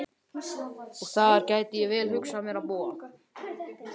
Og þar gæti ég vel hugsað mér að búa.